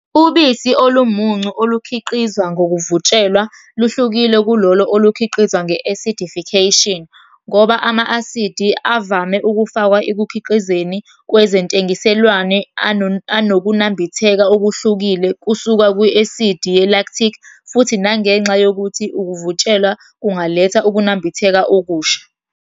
Ubisi olumuncu olukhiqizwa ngokuvutshelwa luhlukile kulolo olukhiqizwa nge-acidification, ngoba ama-asidi avame ukufakwa ekukhiqizeni kwezentengiselwano anokunambitheka okuhlukile kusuka ku-asidi ye-lactic, futhi nangenxa yokuthi ukuvutshelwa kungaletha ukunambitheka okusha.